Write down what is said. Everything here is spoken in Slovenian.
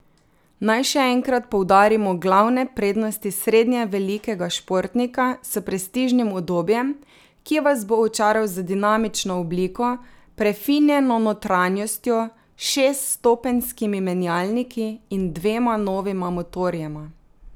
Naj še enkrat poudarimo glavne prednosti srednje velikega športnika s prestižnim udobjem, ki vas bo očaral z dinamično obliko, prefinjeno notranjostjo, šeststopenjskimi menjalniki in dvema novima motorjema.